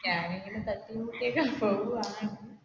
ഞാൻ ഇങ്ങനെ തട്ടിയും മുട്ടിയുമൊക്കെ പോവുകയാണ്